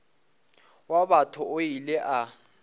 wa batho o ile a